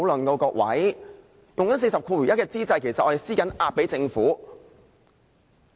在動用第401條之際，其實我們正在向政府施壓。